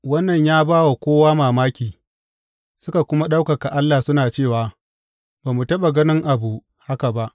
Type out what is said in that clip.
Wannan ya ba wa kowa mamaki, suka kuma ɗaukaka Allah suna cewa, Ba mu taɓa ganin abu haka ba!